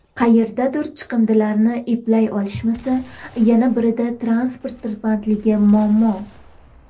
Qayerdadir chiqindilarni eplay olishmasa, yana birida transport tirbandligi muammo.